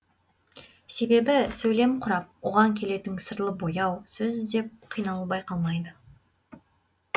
себебі сөйлем құрап оған келетін сырлы бояу сөз іздеп қиналу байқалмайды